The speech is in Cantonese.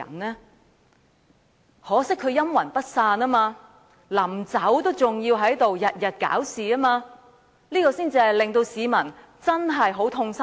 很可惜他卻陰魂不散，臨離開卻仍天天"搞事"，這才是令市民最痛心的。